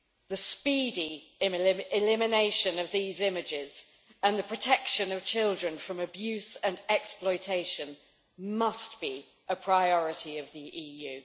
The speedy elimination of these images and the protection of children from abuse and exploitation must be a priority of the EU.